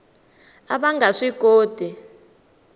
a va nga swi koti